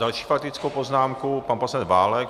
Další faktickou poznámku, pan poslanec Válek.